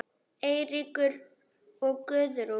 Eiríkur og Guðrún.